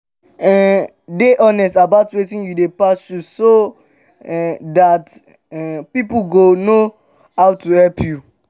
um dey honest about wetin you dey pass through so um dat um pipo go know how to help